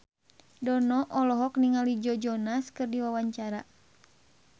Dono olohok ningali Joe Jonas keur diwawancara